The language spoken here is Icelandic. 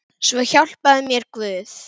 Svo hjálpi mér Guð.